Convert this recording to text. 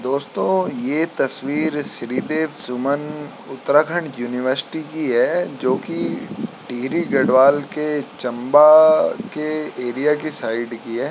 दोस्तों ये तस्वीर श्री देव सुमन उत्तराखंड उनिवर्सिटी की है जो की टिहरी गढ़वाल के चम्बा के एरिया की साइड की है।